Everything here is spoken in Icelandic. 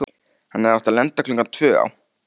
Hann hafði átt að lenda klukkan tvö á